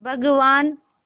भगवान्